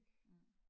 Mhm